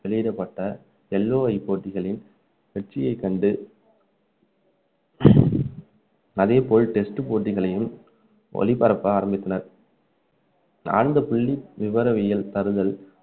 வெளியிடப்பட்ட LOI போட்டிகளை வெற்றியை கண்டு அதே போல் test போட்டிகளையும் ஒளிபரப்ப ஆரம்பித்தனர் நான்கு புள்ளி விவரவியல் தருதல்